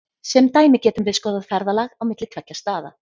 Sem dæmi getum við skoðað ferðalag á milli tveggja staða.